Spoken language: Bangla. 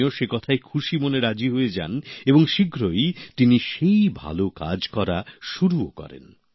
তিনিও সে কথায় খুশি মনে রাজি হয়ে যান এবং শীঘ্রই তিনি সেই ভালো কাজ করা শুরুও করেন